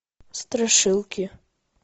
страшилки